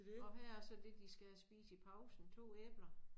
Og her er så det de skal have at spise i pausen 2 æbler